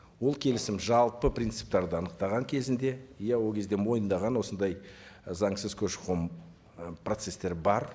ол келісім жалпы принциптерді анықтаған кезінде иә ол кезде мойындаған осындай заңсыз көші қон ы процесстері бар